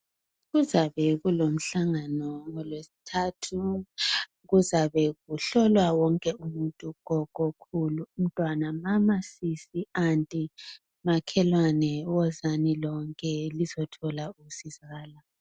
Kuzabe kulomhlangano ngoLweSithathu. Kuzabe kuhlolwa wonke umuntu, wonke umntwana , mama, sisi ,anti makhewane wozani lonke lizothola usizo